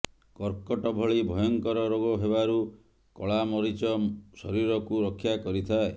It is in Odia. କର୍କଟ ଭଳି ଭୟଙ୍କର ରୋଗ ହେବାରୁ କଳାମରିଚ ଶରୀରକୁ ରକ୍ଷା କରିଥାଏ